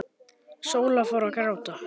Sóla fór að gráta.